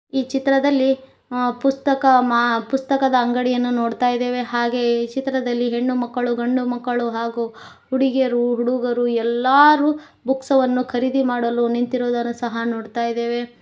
ಈ ಚಿತ್ರದಲ್ಲಿ ಅ ಪುಸ್ತಕ ಮಾ ಪುಸ್ತಕದ ಅಂಗಡಿಯನ್ನ ನೋಡ್ತಾಇದೆವೆ ಹಾಗೆ ಈ ಚಿತ್ರದಲ್ಲಿ ಹೆಣ್ಣುಮಕ್ಕಳು ಗಂಡುಮಕ್ಕಳು ಹಾಗು ಹುಡುಗಿಯರು ಹುಡುಗರು ಎಲ್ಲಾರು ಬುಕ್ಸ್ ವನ್ನು ಖರೀದಿ ಮಾಡಲು ನಿಂತಿರುದನು ಸಹ ನೋಡ್ತಾಇದೆವೆ.